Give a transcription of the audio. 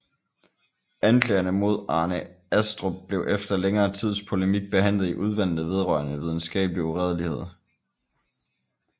Anklagerne mod Arne Astrup blev efter længere tids polemik behandlet i Udvalgene vedrørende Videnskabelig Uredelighed